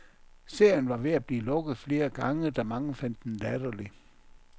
Serien var ved at blive lukket flere gange, da mange fandt den latterlig.